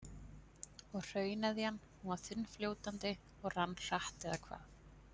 Og hrauneðjan, hún var þunnfljótandi og rann hratt eða hvað?